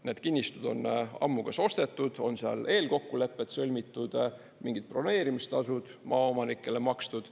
Need kinnistud on ammu kas ostetud, on seal eelkokkulepped sõlmitud, mingid broneerimistasud maaomanikele makstud.